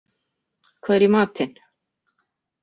Hvað er í matinn?